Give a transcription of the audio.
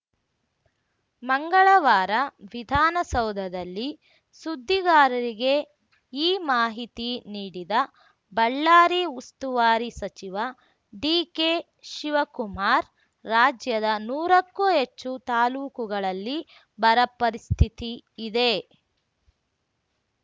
ಮಂಗಳವಾರ ವಿಧಾನಸೌಧದಲ್ಲಿ ಸುದ್ದಿಗಾರರಿಗೆ ಈ ಮಾಹಿತಿ ನೀಡಿದ ಬಳ್ಳಾರಿ ಉಸ್ತುವಾರಿ ಸಚಿವ ಡಿಕೆಶಿವಕುಮಾರ್‌ ರಾಜ್ಯದ ನೂರಕ್ಕೂ ಹೆಚ್ಚು ತಾಲೂಕುಗಳಲ್ಲಿ ಬರ ಪರಿಸ್ಥಿತಿ ಇದೆ